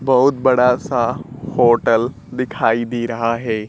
बहुत बडा सा होटल दिखाई दे रहा है।